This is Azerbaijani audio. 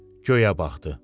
Göyə baxdı.